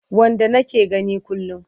Wanda nake gani kullum.